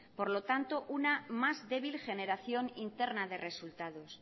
por lo tanto una más débil generación interna de resultados